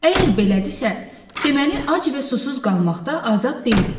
Əgər belədirsə, deməli ac və susuz qalmaqda azad deyilik.